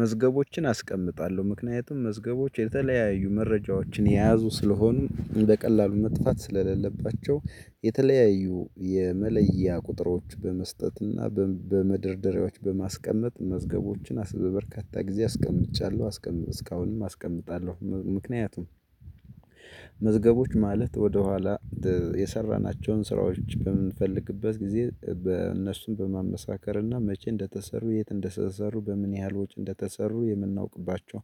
መዝገቦችን አስቀምጣለሁ ምክንያቱም መዝገቦች የተለያዩ መረጃዎችን የያዙ ስለሆኑ እንደ ቀላሉ መጥፋት ስለሌለባቸው የተለያዩ የመለያ ቁጥሮች በመስጠትና በመደርደሪያዎች በማስቀመጥ መዝገቦችን በበርካታ ጊዜ አስቀምጫለሁ አስቀምጥ እስካሁንም አስቀምጣለሁ። ምክንያቱም መዝገቦች ማለት ወደኋላ የሰራናቸውን ስራዎች በምንፈልግበት ጊዜ በእነሱም በማመሳከርና መቼ እንደተሰሩ የት እንደተሰሰሩ በምን ያህል ወጪ እንደተሰሩ የምናውቅባቸው።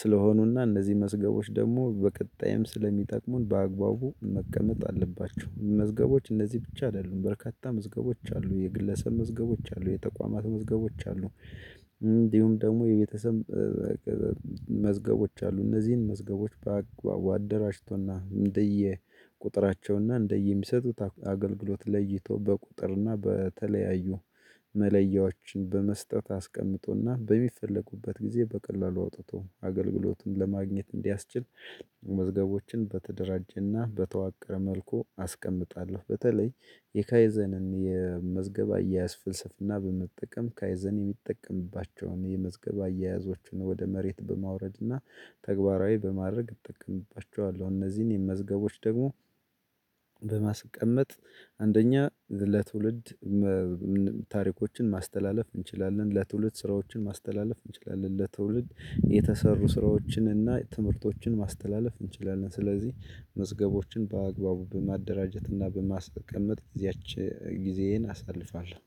ስለሆኑና እነዚህ መስገቦች ደግሞ በቀጣይም ስለሚጠቅሙን በአግባቡ መቀመጥ አለባቸው። መዝገቦች እነዚህ ብቻ አይደሉም በርካታ መዝገቦች አሉ የግለሰብ መዝገቦች አሉ የተቋማት መዝገቦች አሉ። እንዲሁም ደግሞ የቤተሰብ መዝገቦች አሉ። እነዚህን መዝገቦች በአግባቡ አደራጅቶና እንደየ ቁጥራቸውና እንደየሚሰጡት አገልግሎት ለይቶ በቁጥርና በተለያዩ መለያዎችን በመስጠት አስቀምጦና በሚፈለጉበት ጊዜ በቀላሉ አውጥቶ አገልግሎቱን ለማግኘት እንዲያስችል መዝገቦችን በተደራጀና በተዋቀረ መልኩ አስቀምጣለሁ። በተለይ የካይዘንን የመዝገብ አያያዝ ፍልስፍና በመጠቀም ካይዘን የሚጠቀምባቸውን የመዝገብ አያያዞችን ወደ መሬት በማውረድና ተግባራዊ በማድረግ እጠቀምባቸዋለሁ። እነዚህን የመዝገቦች ደግሞ በማስቀመጥ አንደኛ ለትውልድ ታሪኮችን ማስተላለፍ እንችላለን። ለትውልድ ስራዎችን ማስተላለፍ እንችላለን። ለትውልድ የተሰሩ ስራዎችን እና ትምህርቶችን ማስተላለፍ እንችላለን። ስለዚህ መዝገቦችን በአግባቡ በማደራጀት እና በማስቀመጥ ጊዜያችን ጊዜዬን አሳልፋለሁ።